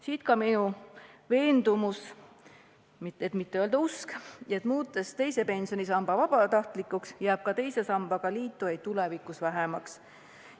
Siit ka minu veendumus, et mitte öelda usk: muutes teise pensionisamba vabatahtlikuks, jääb ka teise sambaga liitujaid tulevikus vähemaks.